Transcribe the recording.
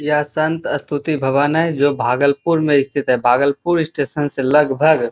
यह संत स्तुति भवन है जो भागलपुर में स्थित है भागलपुर स्टेशन से लगभग --